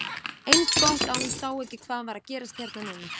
Eins gott að hún sá ekki hvað var að gerast hérna núna!